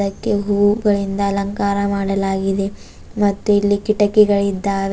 ಅದಕ್ಕೆ ಹೂವುಗಳಿಂದ ಅಲಂಕಾರ ಮಾಡಲಾಗಿದೆ ಮತ್ತೆ ಇಲ್ಲಿ ಕೀಟಕಿಗಳಿದ್ದಾವೆ.